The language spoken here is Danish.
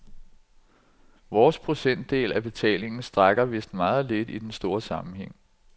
Vores procentdel af betalingen strækker vidst meget lidt i den store sammenhæng.